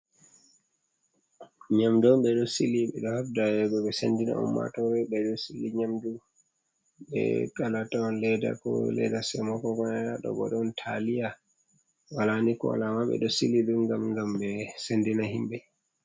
Nyamdu on ɓe ɗo sili ɓe ɗo habda ya hugo sendina ummatore ɓe ɗo sili nyamdu. Be kala atawan ledda ko ledda semo koko nayaɗo bo ɗon taliya, wala ni ko wala amma ɓe ɗo sili ɗum ngam ɓe sendina himɓe.